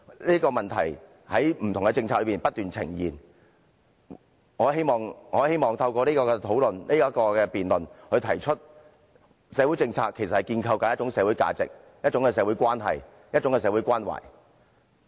這個問題在不同政策中不斷出現，我希望透過今次的辯論提出：社會政策是建構一種社會價值、一種社會關係和一種社會關懷。